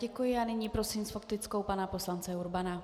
Děkuji a nyní prosím s faktickou pana poslance Urbana.